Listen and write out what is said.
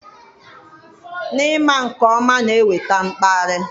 N'ịma nke ọma na-eweta mkparị.